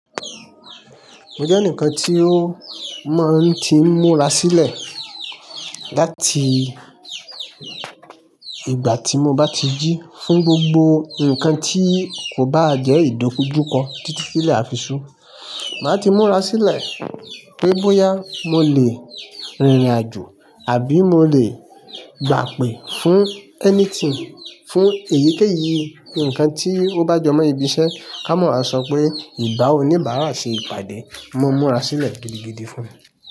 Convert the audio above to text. Mo jẹ́ enikan tí ó máa ń ti múra sílẹ̀ láti ìgbà tí mo bá ti jí fún gbogbo ǹkan tí kò bá jẹ́ ìdójúkọ títí tí ilé àfisún. Máa ti múra sílẹ̀ pé bóyá mo lè rìnrìnàjò àbí mo lè gbàpè fún anything, fún èyíkéyìí ǹkan tí ó bá jọ mọ́ ibiṣẹ́ ká mọ̀ á sọ pé ìbá oníbàárà ṣe ìpàdé. Mo múra sílẹ̀ gidigidi fún un.